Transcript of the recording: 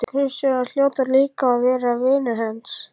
Gröfustjórarnir hljóta líka að vera vinir hans.